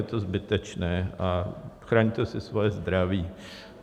Je to zbytečné a chraňte si svoje zdraví.